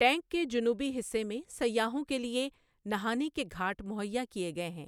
Tank کے جنوبی حصے میں سیاحوں کے لیے نہانے کے گھاٹ مہیا کیے گئے ہیں۔